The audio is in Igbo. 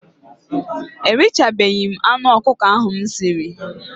Erichabeghi m anụ ọkụkọ ahụ m siri.